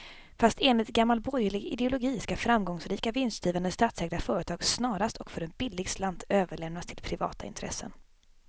Fast enligt gammal borgerlig ideologi ska framgångsrika, vinstgivande statsägda företag snarast och för en billig slant överlämnas till privata intressen.